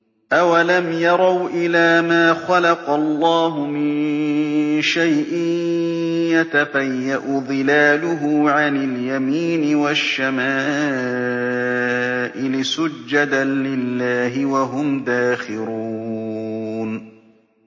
أَوَلَمْ يَرَوْا إِلَىٰ مَا خَلَقَ اللَّهُ مِن شَيْءٍ يَتَفَيَّأُ ظِلَالُهُ عَنِ الْيَمِينِ وَالشَّمَائِلِ سُجَّدًا لِّلَّهِ وَهُمْ دَاخِرُونَ